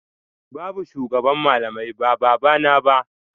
Babu shugaban malamai ba babana ba